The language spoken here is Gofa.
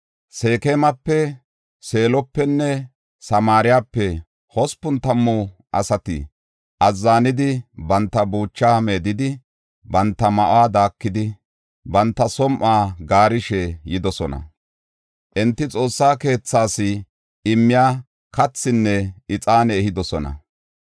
Seekemape, Seelopenne Samaarepe hospun tammu asati azzanidi, banta buuchaa meedidi, banta ma7uwa daakidi, banta som7uwa gaarishe yidosona. Enti Xoossa keethaas immiya kathinne ixaane ehidosona.